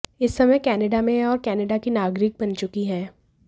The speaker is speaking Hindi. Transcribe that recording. इस समय वह कनाडा में हैं और कनाडा की नागरिक बन चुकी हैं